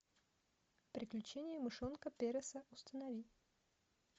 приключения мышонка переса установи